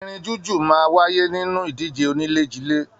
Irin jújù á wáyé nínú ìdíje oníléjilé